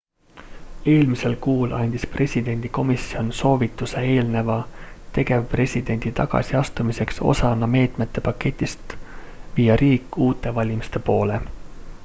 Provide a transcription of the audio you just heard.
eelmisel kuul andis presidendi komisjon soovituse eelneva tegevpresidendi tagasiastumiseks osana meetmete paketist viia riik uute valimiste poole